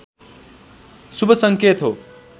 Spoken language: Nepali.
शुभ सङ्केत हो